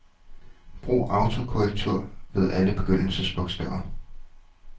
Brug autokorrektur ved alle begyndelsesbogstaver.